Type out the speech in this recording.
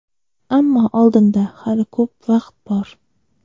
Ammo oldinda hali ko‘p vaqt bor.